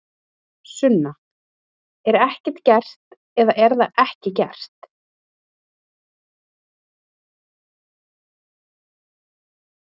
Sunna: Er ekki gert, eða er það ekki gert?